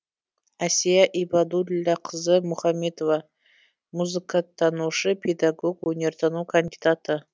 әсия ибадүллақызы мұхамбетова музыкатанушы педагог өнертану кандидаты